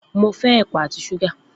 Mo fẹ́ ẹ̀pà àti súgà